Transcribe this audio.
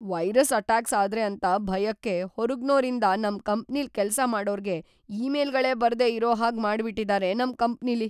Virus attacks ಆದ್ರೆ ಅಂತ ಭಯಕ್ಕೆ ಹೊರಗ್ನೋರಿಂದ ನಮ್‌ ಕಂಪ್ನಿಲ್‌ ಕೆಲ್ಸ ಮಾಡೋರ್ಗೆ ಇಮೇಲ್‌ಗಳೇ ಬರ್ದೇ ಇರೋ ಹಾಗ್‌ ಮಾಡ್ಬಿಟಿದಾರೆ ನಮ್‌ ಕಂಪ್ನಿಲಿ.